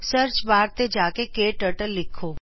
search bar ਤੇ ਜਾ ਕੇ ਕੇ ਟਰਟਲ ਲਿਖੋਂ